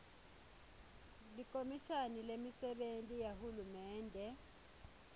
likhomishani lemisebenti yahulumende